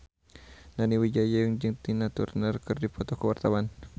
Nani Wijaya jeung Tina Turner keur dipoto ku wartawan